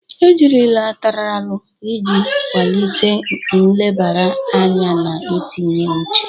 Ejirila Ataralu iji kwalite nlebara anya na itinye uche.